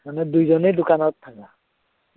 মানে দুইজনেই দোকানত থাকা?